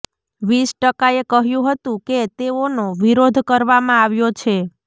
વીસ ટકાએ કહ્યું હતું કે તેઓનો વિરોધ કરવામાં આવ્યો છે